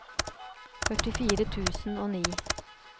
førtifire tusen og ni